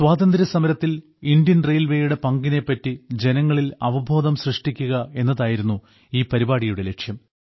സ്വാതന്ത്ര്യ സമരത്തിൽ ഇന്ത്യൻ റെയിൽവേയുടെ പങ്കിനെപ്പറ്റി ജനങ്ങളിൽ അവബോധം സൃഷ്ടിക്കുക എന്നതായിരുന്നു ഈ പരിപാടിയുടെ ലക്ഷ്യം